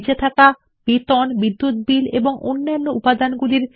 এইটি হল বেতন বিদ্যুৎ বিল এবং অন্যান্য বস্তুগুলি